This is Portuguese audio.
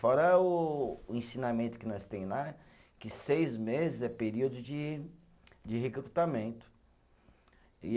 Fora o o ensinamento que nós tem lá, que seis meses é período de de recrutamento. E